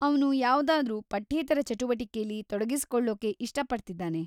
ಅವ್ನು ಯಾವ್ದಾದ್ರೂ ಪಠ್ಯೇತರ ಚಟುವಟಿಕೆಲಿ ತೊಡಗಿಸ್ಕೊಳ್ಳೋಕೆ ಇಷ್ಟಪಡ್ತಿದಾನೆ.